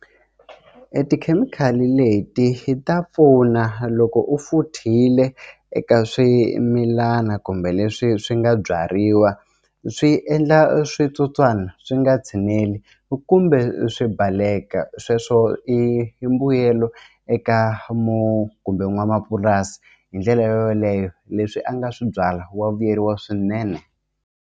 I tikhemikhali leti ta pfuna loko u futhile eka swimilana kumbe leswi swi nga byariwa swi endla switsotswana swi nga tshineli kumbe swi baleka sweswo i mbuyelo eka kumbe n'wamapurasi hi ndlela yoleyo leswi a nga swi byala wa vuyeriwa swinene.